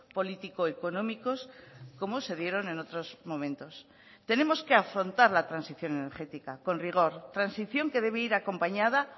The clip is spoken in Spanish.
político económicos como se dieron en otros momentos tenemos que afrontar la transición energética con rigor transición que debe ir acompañada